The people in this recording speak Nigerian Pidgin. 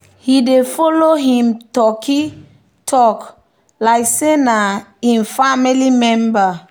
he dey follow him turkey talk like say na him family member.